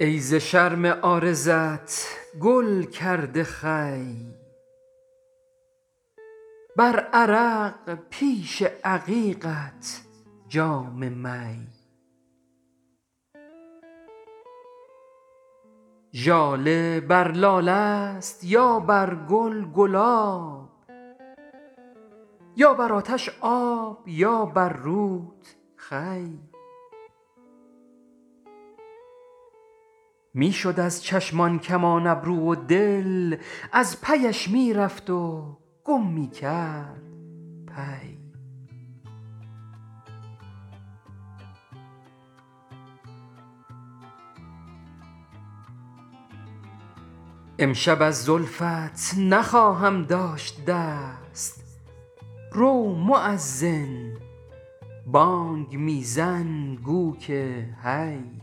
ای ز شرم عارضت گل کرده خوی بر عرق پیش عقیقت جام می ژاله بر لاله است یا بر گل گلاب یا بر آتش آب یا بر روت خوی میشد از چشم آن کمان ابرو و دل از پی اش می رفت و گم می کرد پی امشب از زلفت نخواهم داشت دست رو موذن بانگ می زن گو که حی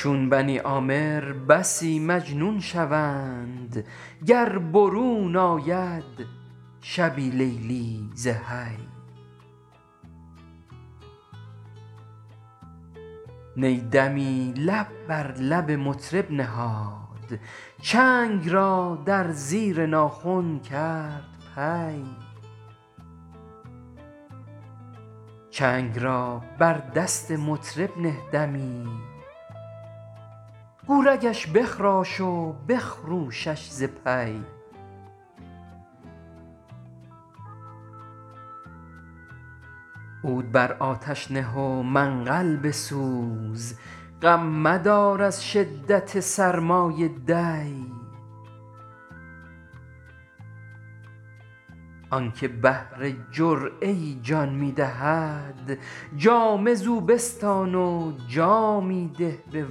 چون بنی عامر بسی مجنون شوند گر برون آید شبی لیلی زحی نی دمی لب بر لب مطرب نهاد چنگ را در زیر ناخن کرد پی چنگ را بر دست مطرب نه دمی گو رگش بخراش و بخروشش ز پی عود بر آتش نه و منقل بسوز غم مدار از شدت سرمای دی آنکه بهر جرعه ای جان می دهد جامه زو بستان و جامی ده به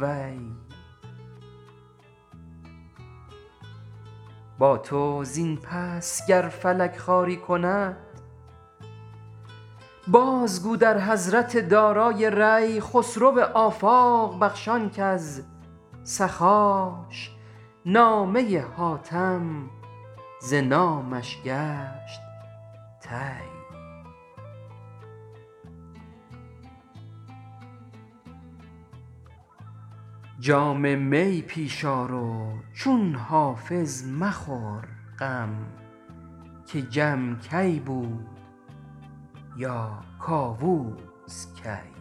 وی با تو زین پس گر فلک خواری کند باز گو در حضرت دارای ری خسرو آفاق بخش آن کز سخاش نامه حاتم ز نامش گشت طی جام می پیش آرو چون حافظ مخور غم که جم کی بود یا کاووس کی